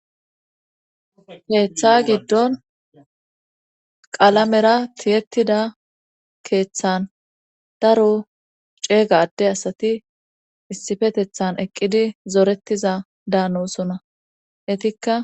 Keetha giddon qalamera tiyettida keeththan daro ceegade asati issifetethan eqqidi zorettiza daanosona etikka